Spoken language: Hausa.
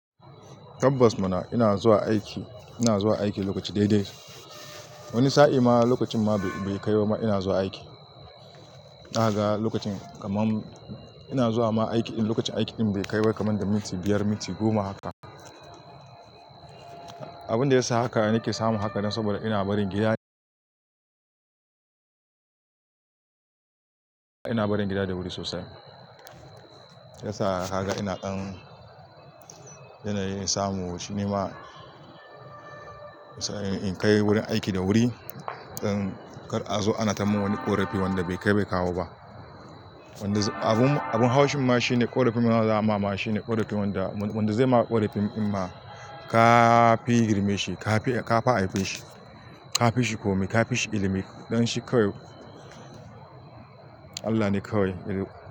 Tabbas muna, ina zuwa aiki, ina zuwa aiki lokaci daidai. Wani sa'i ma lokacin ma bai-bai kai ba ma ina zuwa aiki. Na ga lokacin, kaman ina zuwa ma aiki in lokacin aiki ɗin bai kai ba kaman da minti biyar, minti goma haka. Abin da ya sa haka, nake samu haka dan saboda ina barin gida, ina barin gida da wuri sosai. Ya sa ka ga ina ɗan, yanayin samu shi ne ma, sa'in in kai wurin aiki da wuri, dan kar a zo a na ta mun wani ƙorafi wanda bai kai bai kawo ba. Wanda abun, abun haushin ma shine ƙorafin ma da za a ma ma shine, ƙorafin wanda zai ma ƙorafin in ma, kaa fi girme shi, kafi aife shi, ka fishi komai, ka fishi ilimi, don shi kawai Allah ne kawai ya,